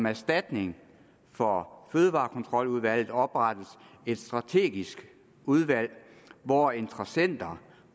erstatning for fødevarekontroludvalget oprettes der et strategisk udvalg hvor interessenterne